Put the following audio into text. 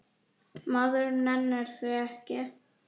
Maður nennir því ekki